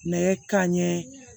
Nɛgɛ kanɲɛ